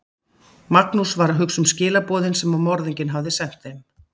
Magnús var að hugsa um skilaboðin sem morðinginn hafði sent þeim.